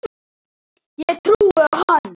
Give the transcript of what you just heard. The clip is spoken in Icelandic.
Ég trúði á hann.